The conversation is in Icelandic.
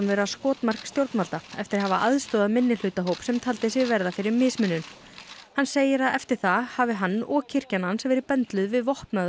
vera skotmark stjórnvalda eftir að hafa aðstoðað minnihlutahóp sem taldi sig verða fyrir mismunun hann segir að eftir það hafi hann og kirkjan hans verið bendluð við vopnaða